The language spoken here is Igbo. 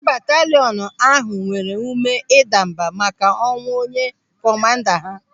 Ndị bataliọnu ahụ nwere ụme ịdambà màkà ọnwụ onye kọmanda ha.